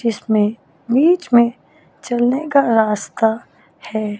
जिसमें बीच में चलने का रास्ता है।